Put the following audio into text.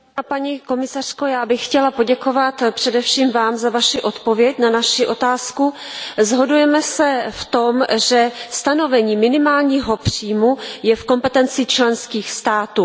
Paní komisařko, já bych chtěla poděkovat především Vám za Vaši odpověď na naši otázku. Shodujeme se v tom, že stanovení minimálního příjmu je v kompetenci členských států.